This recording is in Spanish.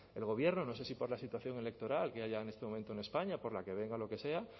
el gobierno no sé si por la situación electoral que haya en este momento en españa por la que venga lo que sea